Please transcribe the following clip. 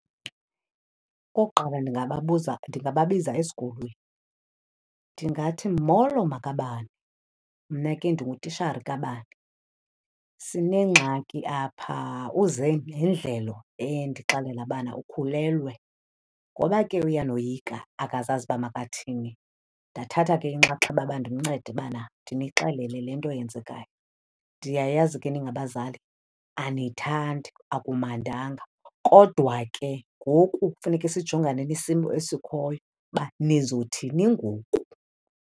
Okokuqala, ndingababuza ndingababiza esikolweni. Ndingathi, molo makabani. Mna ke ndingutishara kabani. Sinengxaki apha, uze nendlelo endixelela bana ukhulelwe. Ngoba ke uyanoyika akazazi uba makathi, ndathatha ke inxaxheba uba ndimncede ubana ndinixelele le nto yenzekayo. Ndiyayazi ke ningabazali aniyithandi, akumandanga. Kodwa ke ngoku kufuneka sijongane nesimo esikhoyo uba nizothi ngoku.